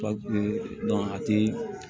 Pa a ti